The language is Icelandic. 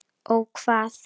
Ó hvað?